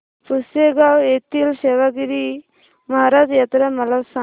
पुसेगांव येथील सेवागीरी महाराज यात्रा मला सांग